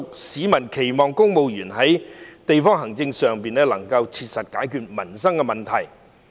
市民期望公務員能在地區行政上切實解決民生問題。